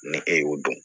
Ni e y'o dɔn